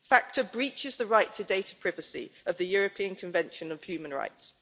FATCA breaches the right to data privacy under the European Convention on Human Rights.